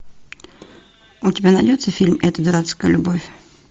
у тебя найдется фильм эта дурацкая любовь